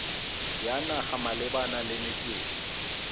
ya naga malebana le metswedi